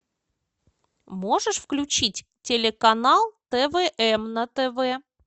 можешь включить телеканал твм на тв